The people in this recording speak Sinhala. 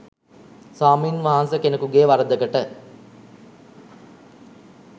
ස්වාමින් වහන්සෙ කෙනෙකුගෙ වරදකට